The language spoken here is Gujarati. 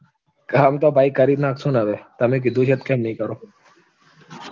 કામ તો ભાઈ કરી નાખશું ને હવે તમે કીધું છે તો કેમ નઈ કરુ